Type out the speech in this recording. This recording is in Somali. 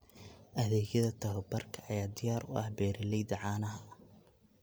Adeegyada tababarka ayaa diyaar u ah beeralayda caanaha.